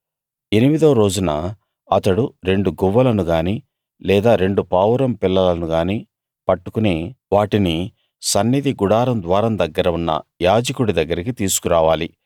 ఎనిమిదో రోజున అతడు రెండు గువ్వలను గానీ లేదా రెండు పావురం పిల్లలను గానీ పట్టుకుని వాటిని సన్నిధి గుడారం ద్వారం దగ్గర ఉన్న యాజకుడి దగ్గరికి తీసుకురావాలి